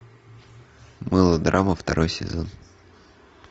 мылодрама второй сезон